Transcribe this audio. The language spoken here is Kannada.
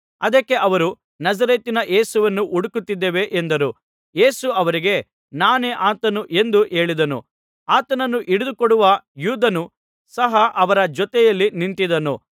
ಅದಕ್ಕೆ ಅವರು ನಜರೇತಿನ ಯೇಸುವನ್ನು ಹುಡುಕುತ್ತಿದ್ದೇವೆ ಎಂದರು ಯೇಸು ಅವರಿಗೆ ನಾನೇ ಆತನು ಎಂದು ಹೇಳಿದನು ಆತನನ್ನು ಹಿಡಿದು ಕೊಡುವ ಯೂದನು ಸಹ ಅವರ ಜೊತೆಯಲ್ಲಿ ನಿಂತಿದ್ದನು